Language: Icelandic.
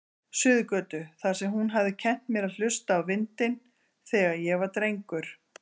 Suðurgötu, þar sem hún hafði kennt mér að hlusta á vindinn, þegar ég var drengur.